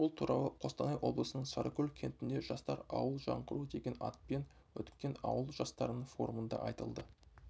бұл туралы қостанай облысының сарыкөл кентінде жастар ауыл жаңғыру деген атпен өткен ауыл жастарының форумында айтылды